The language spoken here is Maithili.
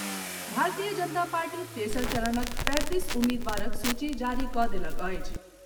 भारतीय जनता पार्टी तेसर चरणक पैंतीस उम्मीदबारक सूची जारी कऽ देलक अछि।